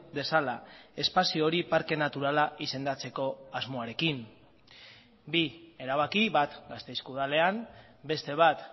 dezala espazio hori parke naturala izendatzeko asmoarekin bi erabaki bat gasteizko udalean beste bat